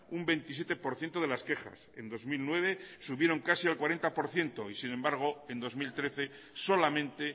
un veintisiete por ciento de las quejas en dos mil nueve subieron casi al cuarenta por ciento y sin embargo en dos mil trece solamente